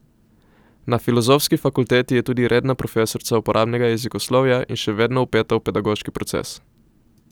Na filozofski fakulteti je tudi redna profesorica uporabnega jezikoslovja in še vedno vpeta v pedagoški proces.